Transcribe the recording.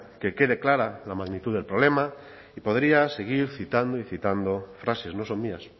que quede clara la magnitud del problema y podría seguir citando y citando frases no son mías